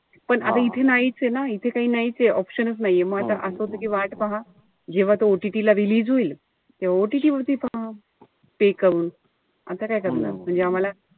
पण आता इथे ना, इथे काही नाईचे. Option च नाहीये. म आता असं होत कि वाट पहा. जेव्हा तो OTT ला release होईल. तेव्हा OTT वर तो pay करून. आता काय करणार. म्हणजे आम्हाला,